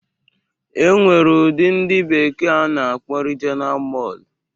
E nwere ụdị ndị bekee na-akpọ Rijiona Mọl.